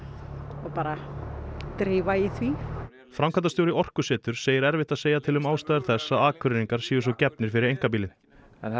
og bara drífa í því framkvæmdastjóri Orkuseturs segir erfitt að segja til um ástæður þess að Akureyringar séu svo gefnir fyrir einkabílinn er